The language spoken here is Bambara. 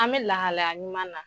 An bɛ lahalaya ɲuman na.